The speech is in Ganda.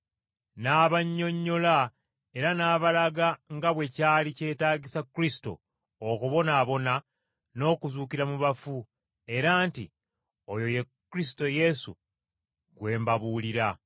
N’abannyonnyola era n’abalaga nga bwe kyali kyetaagisa Kristo okubonaabona n’okuzuukira mu bafu, era nti, “Oyo ye Kristo Yesu gwe mbabuulira.”